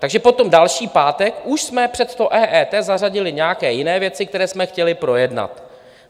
Takže potom další pátek už jsme před to EET zařadili nějaké jiné věci, které jsme chtěli projednat.